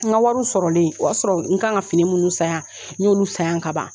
N ka wariw sɔrɔlen o y'a sɔrɔ ka kan ka fini minnu san yan n y'olu san yan ka ban.